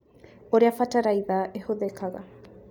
ũrĩa bataraitha ĩhũthĩkaga